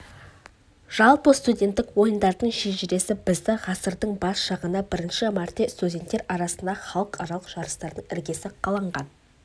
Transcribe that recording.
жалпы студенттік ойындардың шежіресі бізді ғасырдың бас жағына бірінші мәрте студенттер арасында халықаралық жарыстардың іргесі қаланған